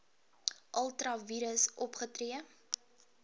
ultra vires opgetree